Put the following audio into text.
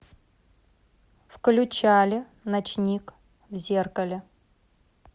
включали ночник в зеркале